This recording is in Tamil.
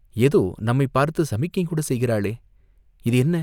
ஏதோ நம்மைப் பார்த்து சமிக்ஞைகூடச் செய்கிறாளே, இது என்ன